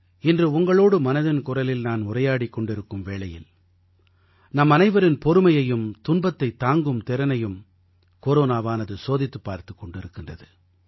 இன்று உங்களோடு மனதின் குரலில் நான் உரையாடிக் கொண்டிருக்கும் வேளையில் நம்மனைவரின் பொறுமையையும் துன்பத்தைத் தாங்கும் திறனையும் கொரோனாவானது சோதித்துப் பார்த்துக் கொண்டிருக்கின்றது